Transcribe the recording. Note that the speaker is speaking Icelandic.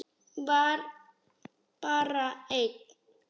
Var bara einn?